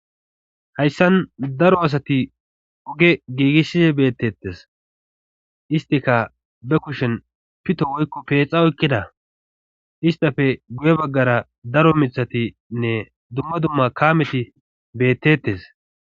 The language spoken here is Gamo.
hayssan daro asati oge giigishshi bettettes istika be kushen pito woykko peexa oykkida istafe guye baggara daro mithatinne dumma dumma kaameti beettettes